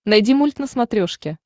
найди мульт на смотрешке